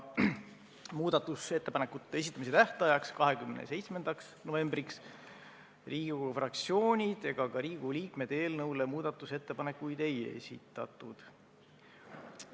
Muudatusettepanekute esitamise tähtajaks, 27. novembriks Riigikogu fraktsioonid ega ka Riigikogu liikmed eelnõu kohta muudatusettepanekuid ei esitanud.